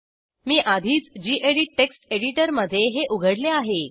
मी आधीच गेडीत टेक्स्ट एडिटरमध्ये हे उघडले आहे